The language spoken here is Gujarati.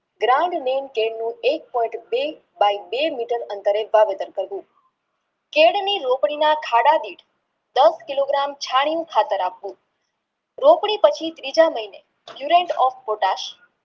કેળની રોકડીમાં થાળાની દસ કિલો ગ્રામ ચાણનું ખાતર આપવું રોકડી પછી ત્રીજા મહિને